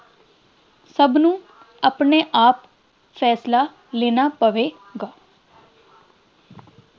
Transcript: ਸਭ ਨੂੰ ਆਪਣੇ ਆਪ ਫੈਸਲਾ ਲੈਣਾ ਪਵੇ